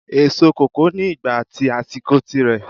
Èso kòkó ni ìgbà at àsìkò tí rẹ